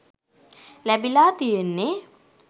ලැබිලා තියෙන්නේ.